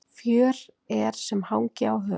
Fjör er sem hangi á hör.